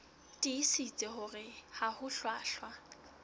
tiisitse hore ha ho hlwahlwa